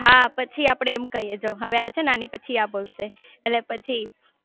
હા પછી આપડે એમ કહીયે જો હવે આ છે ને આની પછી આ બોલશે એટલે પછી